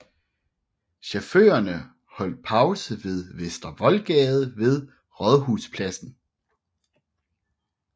Chaufførerne holdt pause på Vester Voldgade ved Rådhuspladsen